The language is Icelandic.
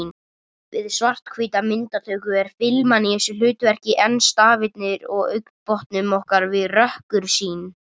Við svarthvíta myndatöku er filman í þessu hlutverki en stafirnir í augnbotnum okkar við rökkursýn.